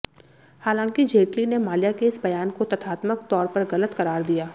हालांकि जेटली ने माल्या के इस बयान को तथ्यात्मक तौर पर गलत करार दिया